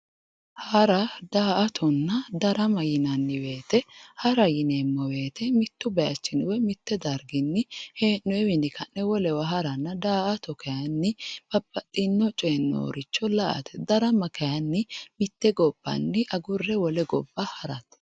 Hara, daa"attonna darama yinnanni woyte hara yineemmo woyte mitu darginni woyi mitu bayichinni hee'nonniwinni ka'ne wolewa haranna ,daa"atto kayinni babbaxxino coyinni nooricho la"ate, darama kayinni mite gobbanni agurre wole gobba harate.